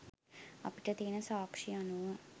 අපිට තියෙන සාක්ෂි අනුව